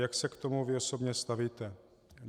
Jak se k tomu vy osobně stavíte?